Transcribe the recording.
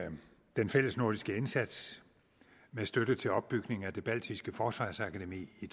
den fællesnordiske indsats med støtte til opbygning af det baltiske forsvarsakademi i